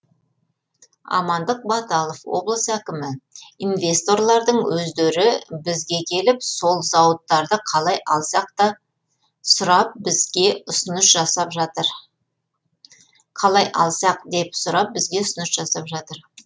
амандық баталов облыс әкімі инвесторлардың өздері бізге келіп сол зауыттарды қалай алсақ деп сұрап бізге ұсыныс жасап жатыр